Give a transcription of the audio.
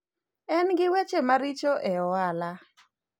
en gi weche maricho e ohala